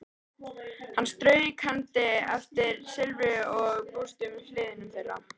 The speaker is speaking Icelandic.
Hann strauk hendi eftir silfruðum og bústnum hliðum þeirra.